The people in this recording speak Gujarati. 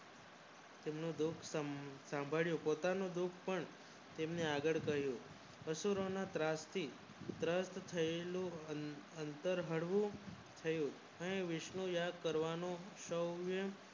અમને સાંભળ્યો પોતાનો દેશ પણ તેમને આગળ કર્યો અસુરોનો પ્રાપ્તિ થી અત્તર હળવું થયું એને વિષ્ણુ યાદ કરવાનું શોર્ય